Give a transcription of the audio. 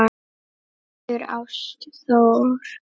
Hildur Ástþór.